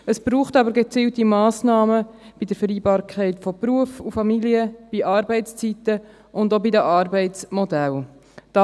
Es braucht aber gezielte Massnahmen bei der Vereinbarkeit von Beruf und Familie, bei den Arbeitszeiten und auch bei den Arbeitsmodellen.